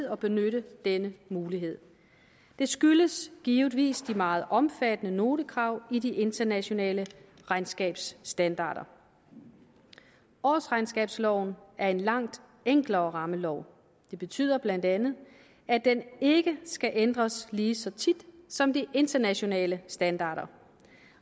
at benytte denne mulighed det skyldes givetvis de meget omfattende notekrav i de internationale regnskabsstandarder årsregnskabsloven er en langt enklere rammelov det betyder bla at den ikke skal ændres lige så tit som de internationale standarder